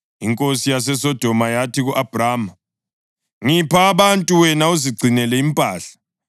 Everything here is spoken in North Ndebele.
Inkosi yaseSodoma yathi ku-Abhrama, “Ngipha abantu wena uzigcinele impahla.”